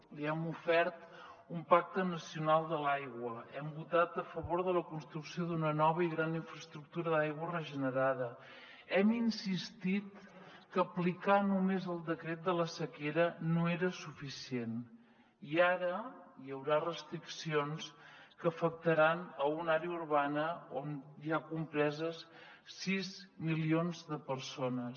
li hem ofert un pacte nacional de l’aigua hem votat a favor de la construcció d’una nova i gran infraestructura d’aigua regenerada hem insistit que aplicar només el decret de la sequera no era suficient i ara hi haurà restriccions que afectaran una àrea urbana on hi ha compreses sis milions de persones